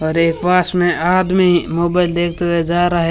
और ये पास में आदमी मोबाइल देखते हुए जा रहा है।